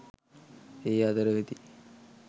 ඒ අතර වෙති.